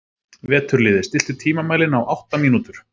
Veturliði, stilltu tímamælinn á átta mínútur.